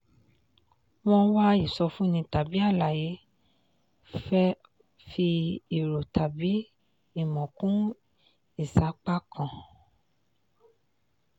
wọ́n wá ìsọfúnni tàbí àlàyé fẹ́ fi èrò tàbí ìmọ̀ kún ìsapá kan.